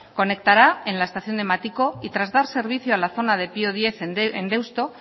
conectará en la estación de matiko y tras dar servicio a la zona de pio décimo en deusto